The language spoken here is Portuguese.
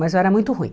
Mas eu era muito ruim.